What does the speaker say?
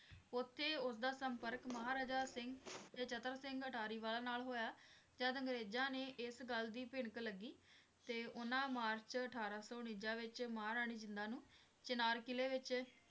ਉਥੇ ਉਸ ਦਾ ਸੰਪਰਕ ਮਹਾਰਾਜਾ ਸਿੰਘ ਤੇ ਚਤਰ ਸਿੰਘ ਅਟਾਰੀਵਾਲਾ ਨਾਲ ਹੋਇਆ, ਜਦ ਅੰਗਰੇਜ਼ਾਂ ਨੇ ਇਸ ਗੱਲ ਦੀ ਭਿਣਕ ਲੱਗੀ ਤੇ ਉਨ੍ਹਾਂ ਮਾਰਚ ਅਠਾਰਾਂ ਸੌ ਉਣੰਜਾ ਵਿਚ ਮਹਾਰਾਣੀ ਜਿੰਦਾਂ ਨੂੰ ਚਿਨਾਰ ਕਿਲ੍ਹੇ ਵਿੱਚ